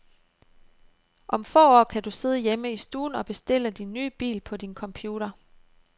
Om få år kan du sidde hjemme i stuen og bestille din nye bil på din computer.